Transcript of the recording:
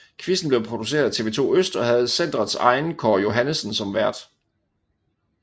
Quizzen blev produceret af TV2 Øst og havde centrets egen Kåre Johannessen som vært